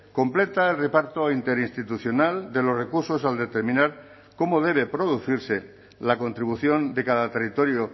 completa el reparto interinstitucional de los recursos al determinar cómo debe producirse la contribución de cada territorio